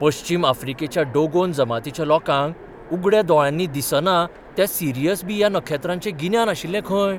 पश्चीम आफ्रिकेच्या डोगोन जमातीच्या लोकांक उगड्या दोळ्यांनी दिसना त्या सिरियस बी ह्या नखेत्राचें गिन्यान आशिल्लें खंय?